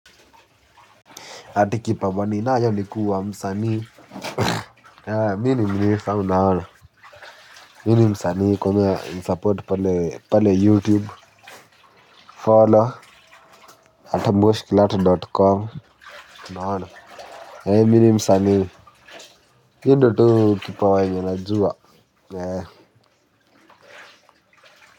Ati kipawa ninayo ni kuwa msanii mini mini famu na hana mini msani komea msaportu pale pale youtube follow atamboshkilato.com naona mini msani hindi tu kipa wane na juwa nye.